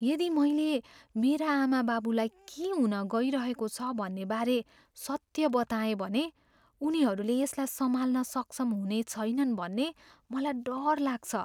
यदि मैले मेरा आमाबाबुलाई के हुनगइरहेको छ भन्ने बारे सत्य बताएँ भने, उनीहरूले यसलाई सम्हाल्न सक्षम हुने छैनन् भन्ने मलाई डर लाग्छ।